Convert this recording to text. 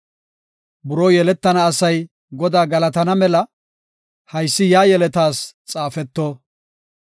Buroo yeletana asay Godaa galatana mela, haysi yaa yeletas xaafeto.